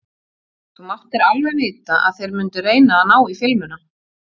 Þú máttir alveg vita að þeir mundu reyna að ná í filmuna!